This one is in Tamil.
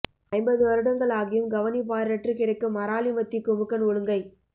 ஐம்பது வருடங்கள் ஆகியும் கவனிப்பாரற்று கிடக்கும் அராலி மத்தி குமுக்கன் ஒழுங்கை